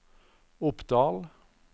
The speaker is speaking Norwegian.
Oppdal